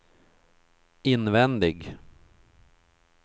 invändig